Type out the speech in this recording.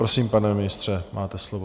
Prosím, pane ministře, máte slovo.